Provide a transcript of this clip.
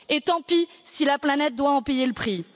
Et tant pis si la planète doit en payer le prix.